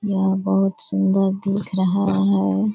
यह बहुत सुंदर दिख रहा है |